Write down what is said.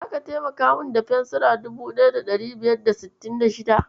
Zaka taimaka min da fensira 1566?